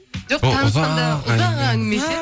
жоқ танысқанда ұзақ әңгіме ше